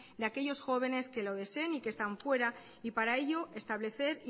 de aquellos jóvenes que lo deseen y que están fuera y para ello establecer